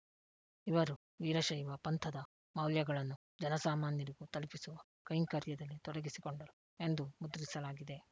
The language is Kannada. ಇವರು ವೀರಶೈವ ಪಂಥದ ಮೌಲ್ಯಗಳನ್ನು ಜನಸಾಮಾನ್ಯರಿಗೂ ತಲುಪಿಸುವ ಕೈಂಕರ್ಯದಲ್ಲಿ ತೊಡಗಿಸಿಕೊಂಡರು ಎಂದು ಮುದ್ರಿಸಲಾಗಿದೆ